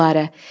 Gülarə!